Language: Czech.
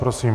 Prosím.